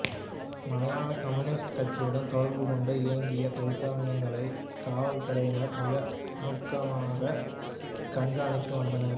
Malaya communist கட்சியுடன் தொடர்பு கொண்டு இயங்கிய தொழிற்சங்கங்களைக் காவல் துறையினர் மிக அணுக்கமாகக் கண்காணித்து வந்தனர்